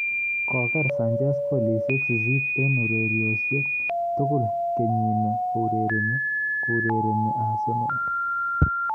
Kogoger Sanches golisyek sisit eng ureryosek tugul kenyini kourerene Arsenal